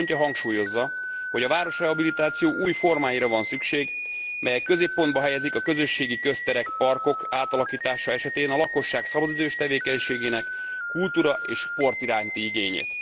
7. pontja hangsúlyozza, hogy a városrehabilitáció új formáira van szükség, melyek középpontba helyezik a közösségi közterek, parkok átalakítása esetén a lakosság szabadidős tevékenységének kultúra és sport iránti igényét.